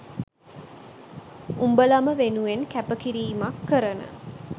උඹලම වෙනුවෙන් කැප කිරීමක් කරන